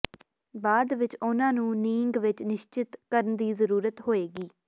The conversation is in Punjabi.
ਬਾਅਦ ਵਿੱਚ ਉਹਨਾਂ ਨੂੰ ਨੀਂਗ ਵਿੱਚ ਨਿਸ਼ਚਤ ਕਰਨ ਦੀ ਜ਼ਰੂਰਤ ਹੋਏਗੀ